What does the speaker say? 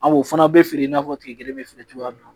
A o fana bɛ feere i n'a fɔ tile kelen bɛ feere cogoya min na